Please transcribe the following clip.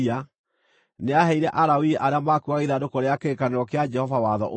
nĩaheire Alawii arĩa maakuuaga ithandũkũ rĩa kĩrĩkanĩro kĩa Jehova watho ũyũ,